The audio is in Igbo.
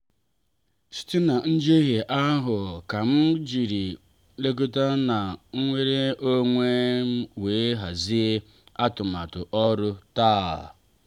site na njehie ahụ kam jiri nlekọta na nnwere onwe wee hazie atụmatụ ọrụ taa.